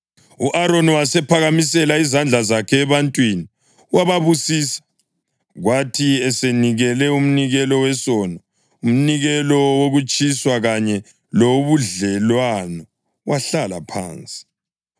U-Aroni wasephakamisela izandla zakhe ebantwini wababusisa. Kwathi esenikele umnikelo wesono, umnikelo wokutshiswa kanye lowobudlelwano, wahlala phansi.